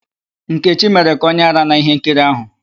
Nkechi mere ka onye árá n'íhénkiri áhụ̀.